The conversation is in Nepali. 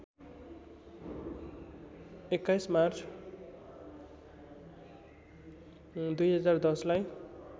२१ मार्च २०१० लाई